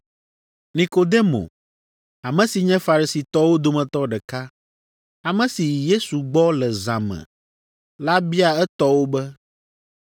Nikodemo, ame si nye Farisitɔwo dometɔ ɖeka, ame si yi Yesu gbɔ le zã me la bia etɔwo be,